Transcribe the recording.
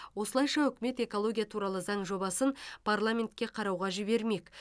осылайша үкімет экология туралы заң жобасын парламентке қарауға жібермек